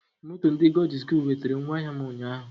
Moto ndị God iz goodu wetera ngwa ahịa m ụnyaahụ